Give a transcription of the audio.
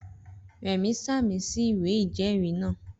Rẹ̀mí sàmì sí ìwé ìjẹ́ẹ̀rí náà